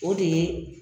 O de ye